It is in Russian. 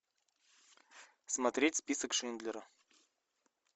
смотреть список шиндлера